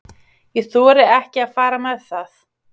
Ég þori ekki að fara með það.